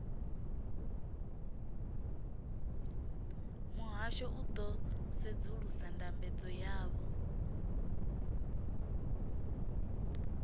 muhasho u ḓo sedzulusa ndambedzo yavho